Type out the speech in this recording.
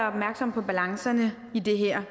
opmærksomme på balancerne i det her